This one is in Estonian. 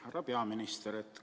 Härra peaminister!